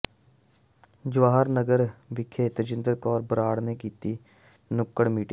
ਜਵਾਹਰ ਨਗਰ ਵਿਖੇ ਤਜਿੰਦਰ ਕੌਰ ਬਰਾੜ ਨੇ ਕੀਤੀ ਨੁੱਕੜ ਮੀਟਿੰਗ